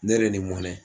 Ne yɛrɛ ni mɔnɛ